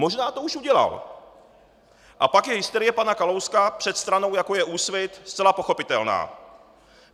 Možná to už udělal, a pak je hysterie pana Kalouska před stranou, jako je Úsvit, zcela pochopitelná.